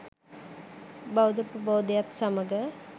බෞද්ධ ප්‍රබෝධයත් සමඟ